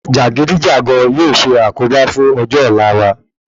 Jàgídíjàgan yóò ṣe àkóbá fún ọjọ́ ọ̀la wa